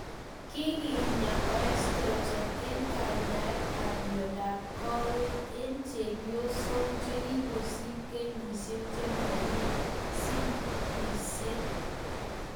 Kikiyan estrogen eng kenyaet ap miondap kawek eng chepyosok chekikosir kenyishek chemakosigisye